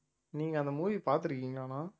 நீங்க அந்த movie பார்த்திருக்கீங்களாண்ணா